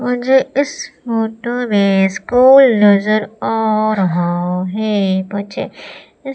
मुझे इस फोटो में स्कूल नजर आ रहा है बच्चे--